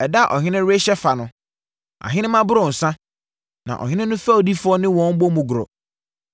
Ɛda a ɔhene rehyɛ fa no ahenemma boro nsã, na ɔhene no fɛdifoɔ ne wɔn bɔ mu goro.